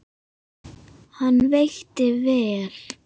Hann veitti vel